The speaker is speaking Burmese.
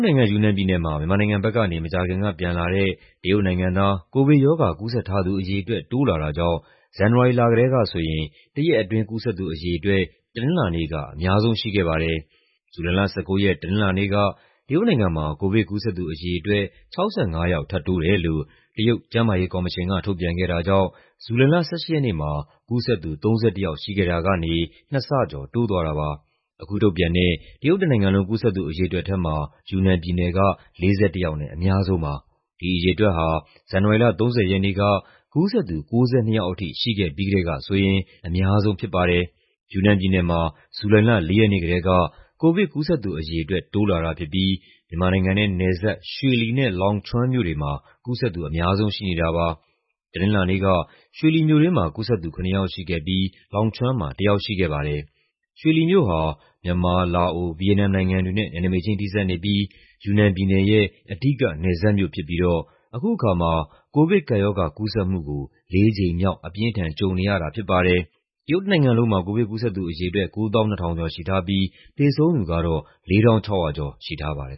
နိုင်ငံ၊ ယူနန်ပြည်နယ်မှာ မြန်မာနိုင်ငံဘက်ကနေ မကြာခင်ကပြန်လာတဲ့ တရုတ်နိုင်ငံသား ကိုဗစ်ရောဂါ ကူးစက်ထားသူအရေအတွက် တိုးလာတာကြောင့် ဇန်နဝါရီလကတည်းကဆိုရင် တရက်အတွင်း ကူးစက်သူအရေအတွက် တနင်္လာနေ့က အများဆုံးရှိခဲ့ပါတယ်။ ဇူလိုင်လ ၁၉ ရက် တနင်္လာနေ့က တရုတ်နိုင်ငံမှာ ကိုဗစ်ကူးစက်သူအရေအတွက် ၆၅ ယောက် ထပ်တိုးတယ်လို့ တရုတ် ကျန်းမာရေးကော်မရှင်က ထုတ်ပြန်ခဲ့တာကြောင့် ဇူလိုင်လ ၁၈ ရက်နေ့မှာ ကူးစက်သူ ၃၁ ယောက်ရှိခဲ့တာကနေ နှစ်ဆကျော်တိုးသွားတာပါ။ အခုထုတ်ပြန်တဲ့ တရုတ်တနိုင်ငံလုံး ကူးစက်သူအရေအတွက်ထဲမှာ ယူနန်ပြည်နယ်က ၄၁ ယောက်နဲ့ အများဆုံးပါ။ ဒီအရေအတွက်ဟာ ဇန်နဝါရီလ ၃၀ ရက်နေ့က ကူးစက်သူ ၉၂ ယောက်ထိ ရှိခဲ့ပြီးကတည်းကဆိုရင် အများဆုံးဖြစ်ပါတယ်။ ယူနန်ပြည်နယ်မှာ ဇူလိုင်လ ၄ ရက်နေ့ကတည်းက ကိုဗစ်ကူးစက်သူအရေအတွက် တိုးလာတာဖြစ်ပြီး မြန်မာနိုင်ငံနဲ့နယ်စပ် ရွှေလီနဲ့ Longchuan မြို့တွေမှာ ကူးစက်သူ အများဆုံးရှိနေတာပါ။ တနင်္လာနေ့က ရွှေလီမြို့တွင်းမှာ ကူးစက်သူ ၇ ယောက်ရှိခဲ့ပြီး Longchuan မှာ တယောက်ရှိခဲ့ပါတယ်။ ရွှေလီမြို့ဟာ မြန်မာ၊ လာအို၊ ဗီယက်နမ်နိုင်ငံတွေနဲ့ နယ်နိမိတ်ချင်း ထိစပ်နေပြီး ယူနန်ပြည်နယ်ရဲ့အဓိက နယ်စပ်မြို့ဖြစ်ပြီးတော့ အခုအခါမှာ ကိုဗစ်ကပ်ရောဂါ ကူးစက်မှုကို လေးကြိမ်မြောက် အပြင်းအထန်ကြုံနေရတာဖြစ်ပါတယ်။ တရုတ်တနိုင်ငံလုံးမှာ ကိုဗစ်ကူးစက်သူအရေအတွက် ၉၂,၀၀၀ ကျော်ရှိထားပြီး သေဆုံးသူကတော့ ၄,၆၀၀ ကျော်ရှိထားပါတယ်